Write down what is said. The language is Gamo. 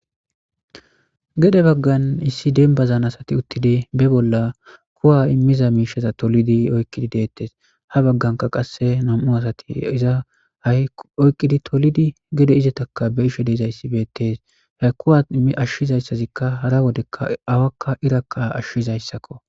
gede baggan issi dembazan asati uttidi be bolla kuwa immiza miishaza tolidi oykqidi deettes ha bagganka qasse nam7u asati iza hai oyqqidi tolidi gede izetaka be ishe deezayssi beettees ha kuwa ashshizayssazikka hara wodekka awakka irakka ashshizayssakko